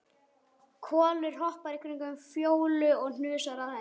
Kolur hoppar í kringum Fjólu og hnusar að henni.